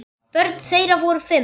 Börn þeirra voru fimm.